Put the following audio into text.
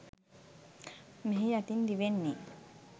මෙහි යටින් දිවෙන්නේ